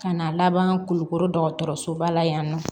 Ka na laban kulukoro dɔgɔtɔrɔso ba la yan nɔ